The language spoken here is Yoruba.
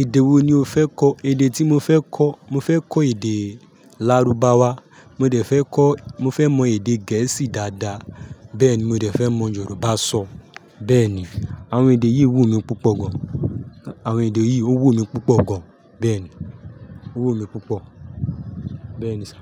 Èdè wo ni o fẹ́ kọ̀? Èdè tí mo fẹ́ kọ̀, mo fẹ́ kọ́ èdè Lárúbáwá, mo dẹ̀ fẹ́ kọ̀, mo fẹ́ mọ èdè gẹ̀ẹ́sì dáadáa, bẹ́ẹ̀ ni mo rẹ̀ fẹ́ mọ Yorùbá sọ. Bẹ́ẹ̀ ni, àwọn èdè yìí wú mi púpọ̀ gan. Àwọn èdè yìí ó wù mí púpọ̀ gan. Bẹ́ẹ̀ ni, ó wù mí púpọ̀. Bẹ́ẹ̀ ni sir,